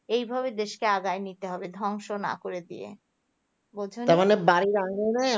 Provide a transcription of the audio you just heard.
এভাবে দেশকে আগায় নিয়ে যেতে হবে ধ্বংস না করে দিয়ে বুঝছ